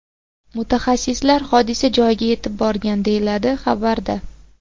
Mutaxassislar hodisa joyiga yetib borgan”, deyiladi xabarda.